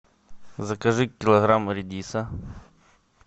закажи килограмм редиса